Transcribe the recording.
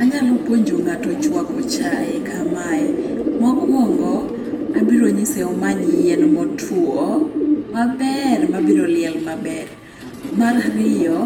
Anyalo puonjo ng'ato chwako chae kamae, mokwongo, abironyise omany yien motwo maber mabiroliel maber. Mar ariyo